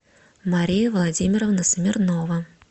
мария владимировна смирнова